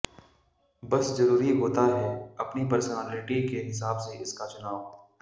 बस जरूरी होता है अपनी पर्सनालिटी के हिसाब से इसका चुनाव